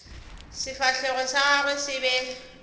sefahlego sa gagwe se be